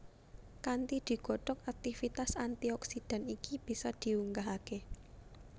Kanthi digodhog aktivitas antioksidan iki bisa diunggahake